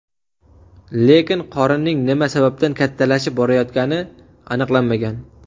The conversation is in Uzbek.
Lekin qorinning nima sababdan kattalashib borayotgani aniqlanmagan.